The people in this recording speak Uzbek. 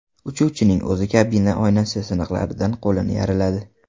Uchuvchining o‘zi kabina oynasi siniqlaridan qo‘lini yaraladi.